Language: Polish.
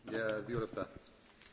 Panie przewodniczący!